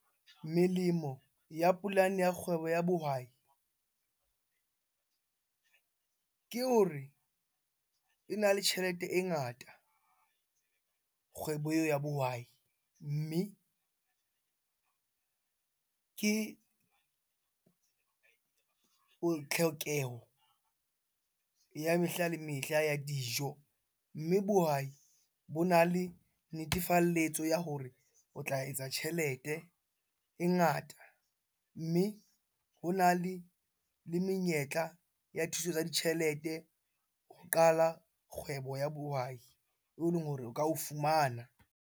Melemo ya polane ya kgwebo ya bohwai ke hore ena le tjhelete e ngata, kgwebo eo ya bohwai. Mme ke tlhokeho ya mehla le mehla ya dijo. Mme bohwai bona le netefalletso ya hore o tla etsa tjhelete e ngata. Mme hona le menyetla ya thuso tsa ditjhelete ho qala kgwebo ya bohwai eo eleng hore o ka o fumana.